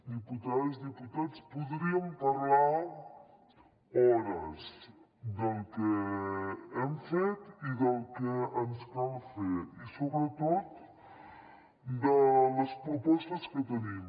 diputades diputats podríem parlar hores del que hem fet i del que ens cal fer i sobretot de les propostes que tenim